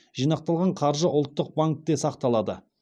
жинақталған қаржы ұлттық банкте сақталады